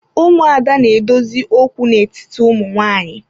Ụmụada na-edozi okwu n'etiti ụmụ nwanyị.